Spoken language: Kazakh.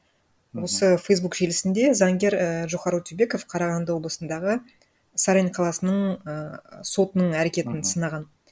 осы фейсбук желісінде заңгер ііі джохар өтебеков қарағанды облысындағы сарань қаласының ііі сотының әрекетін сынаған